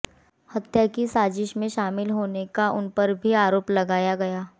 हत्या की साजिश में शामिल होने का उन पर भी आरोप लगाया गया